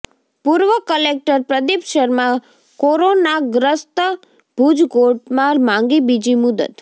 પૂર્વ કલેકટર પ્રદીપ શર્મા કોરોનાગ્રસ્તઃ ભુજ કોર્ટમાં માંગી બીજી મુદ્દત